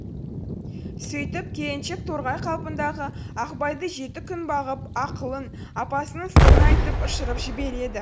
сөйтіп келіншек торғай қалпындағы ақбайды жеті күн бағып ақылын апасының сырын айтып ұшырып жібереді